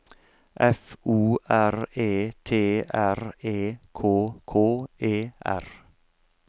F O R E T R E K K E R